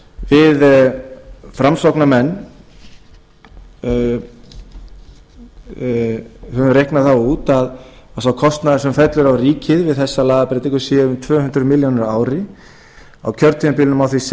við framsóknarmenn höfum reiknað það út að sá kostnaður sem fellur á ríkið við þessa lagabreytingu sé um tvö hundruð milljónir á ári á kjörtímabilinu má því